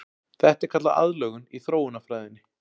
Þetta er kallað aðlögun í þróunarfræðinni.